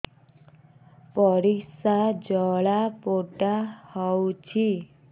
ପରିସ୍ରା ଜଳାପୋଡା ହଉଛି